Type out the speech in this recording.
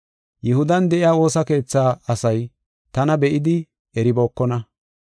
Yihudan de7iya woosa keethaa asay tana be7idi eribookona.